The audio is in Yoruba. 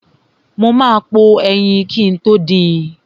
Mo ma po ẹyin kin tó din.